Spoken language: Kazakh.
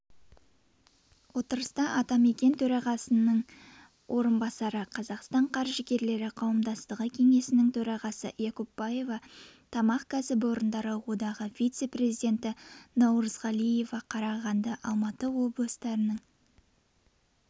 отырыста атамекен төрағасының орынбасары қазақстан қаржыгерлері қауымдастығы кеңесінің төрағасы якупбаева тамақ кәсіпорындары одағы вице-президенті наурызғалиева қарағанды алматы облыстарының